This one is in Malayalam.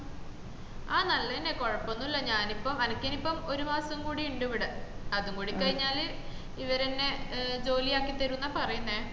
ആഹ് നല്ലന്നെ കൊയപ്പൊന്നുള്ള ഞാനിപ്പോ അനക്കെനിപ്പോ ഒരു മാസം കൂടി ഉണ്ടിവിടെ അതും കൂടി കഴിഞ്ഞാൽ ഇവരെന്നെ ജോലി അക്കിത്തരുന്ന പറയുന്നേ